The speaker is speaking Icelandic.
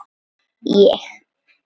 Og ég.